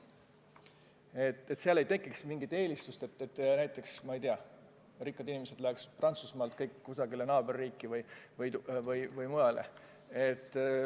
Üleeuroopalise maksu korral ei teki üheski riigis mingit eelistust, nii et rikkad inimesed läheksid näiteks Prantsusmaalt kusagile naaberriiki või mujale.